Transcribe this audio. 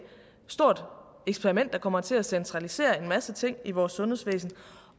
stort eksperiment der kommer til at centralisere en masse ting i vores sundhedsvæsen